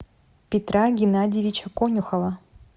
петра геннадьевича конюхова